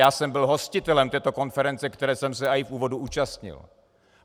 Já jsem byl hostitelem této konference, které jsem se i v úvodu účastnil.